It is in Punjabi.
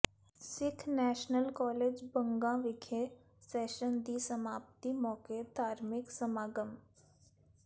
ਸਿੱਖ ਨੈਸ਼ਨਲ ਕਾਲਜ ਬੰਗਾ ਵਿਖੇ ਸੈਸ਼ਨ ਦੀ ਸਮਾਪਤੀ ਮੌਕੇ ਧਾਰਮਿਕ ਸਮਾਗਮ